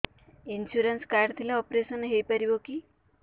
insurance card ଥିଲେ operation ହେଇପାରିବ କି